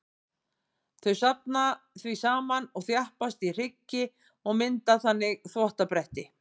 Þau safnast því saman og þjappast í hryggi og mynda þannig þvottabretti.